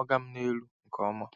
“oga m n'elu” nke ọma.